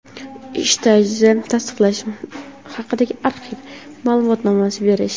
ish stajini tasdiqlash haqidagi arxiv ma’lumotnomasini berish;.